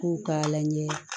K'u k'a lajɛ